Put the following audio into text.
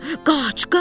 Qaç, qaç!